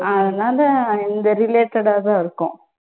அதனால இந்த related ஆ தான் இருக்கும்.